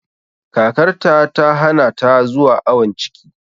Kakarta ta hana ta zuwa awon ciki